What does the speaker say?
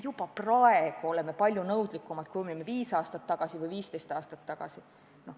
Juba praegu oleme palju nõudlikumad, kui olime viis aastat tagasi või 15 aastat tagasi.